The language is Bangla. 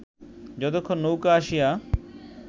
যতক্ষণ নৌকা আসিয়া